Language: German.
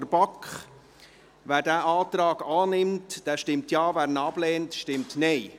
der BaK. Wer diesen Antrag annimmt, der stimmt Ja, wer diesen ablehnt, stimmt Nein.